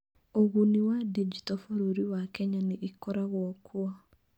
Ũguni wa Digito Bũrũri wa Kenya nĩ ĩkoragwo kuo